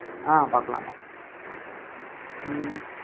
ஆஹ் பார்க்கலாம்யா ஹம்